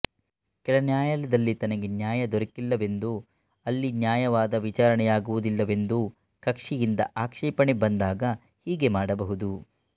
ಕೆಳನ್ಯಾಯಾಲಯದಲ್ಲಿ ತನಗೆ ನ್ಯಾಯ ದೊರಕಿಲ್ಲವೆಂದೋ ಅಲ್ಲಿ ನ್ಯಾಯವಾದ ವಿಚಾರಣೆಯಾಗುವುದಿಲ್ಲವೆಂದೋ ಕಕ್ಷಿಯಿಂದ ಆಕ್ಷೇಪಣೆ ಬಂದಾಗ ಹೀಗೆ ಮಾಡಬಹುದು